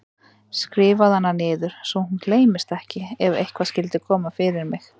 Skrifaðu hana niður svo hún gleymist ekki ef eitthvað skyldi koma fyrir mig.